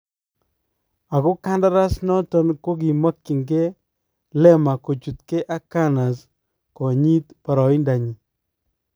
Ako kandaras noton kokimakyingee Lemar kochutkee ak Gunners konyiit barayindaanyin